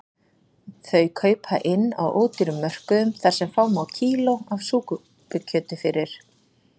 Þau kaupa inn á ódýrum mörkuðum þar sem fá má kíló af súpukjöti fyrir